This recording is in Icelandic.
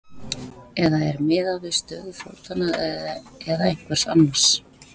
Eða er miðað við stöðu fótanna eða einhvers annars?